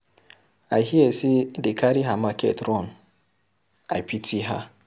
I hear say dey carry her market run. I pity her.